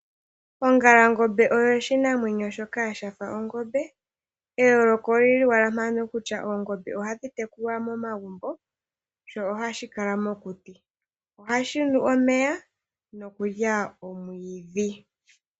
Ongalangombe oyo oshinamwemyo shoka shafa ongombe, eyooloko olili owala mpaka kutya oongombe ohadhi tekulwa momagumbo, sho ohashi kala mokuti. Ohashi nu omeya nokulya omwiidhi.